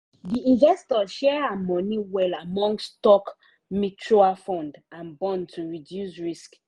the investor share her money well among stock mutual fund and bond to reduce risk.